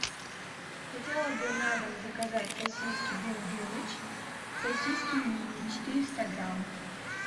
хотела бы на дом заказать сосиски дым дымыч сосиски мини четыреста грамм